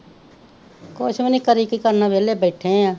ਕੁਛ ਵੀ ਨਹੀਂ, ਕਰੀ ਕੀ ਕਰਨਾ ਵਿਹਲੇ ਬੈਠੇ ਹਾਂ,